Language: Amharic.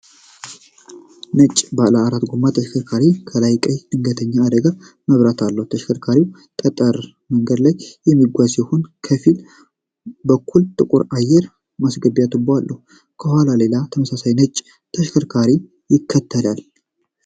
ነጭ ባለ አራት ጎማ ተሽከርካሪ ከላይ ቀይ የድንገተኛ አደጋ መብራት አለው። ተሽከርካሪው በጠጠር መንገድ ላይ የሚጓዝ ሲሆን ከፊት በኩል ጥቁር አየር ማስገቢያ ቱቦ አለው። ከኋላው ሌላ ተመሳሳይ ነጭ ተሽከርካሪ ይከተላል።